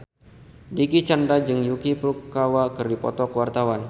Dicky Chandra jeung Yuki Furukawa keur dipoto ku wartawan